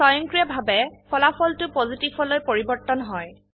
স্বয়ংক্ৰিয়ভাবে ফলাফলটো পজিটিভ লৈ পৰিবৰ্তন হয়